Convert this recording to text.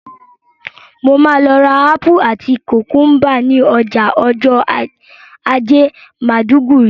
Mo ma lọ rà ápù àti kùkúmbà ni ọjà ọjọ́ ajé Maiduguri